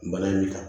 Bana in de kan